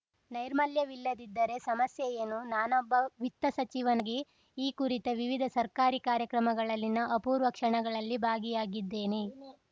ನೈರ್ಮಲ್ಯವಿಲ್ಲದಿದ್ದರೆ ಸಮಸ್ಯೆಯೇನು ನಾನೊಬ್ಬ ವಿತ್ತ ಸಚಿವನಾಗಿ ಈ ಕುರಿತ ವಿವಿಧ ಸರ್ಕಾರಿ ಕಾರ್ಯಕ್ರಮಗಳಲ್ಲಿನ ಅಪೂರ್ವ ಕ್ಷಣಗಳಲ್ಲಿ ಭಾಗಿಯಾಗಿದ್ದೇನೆ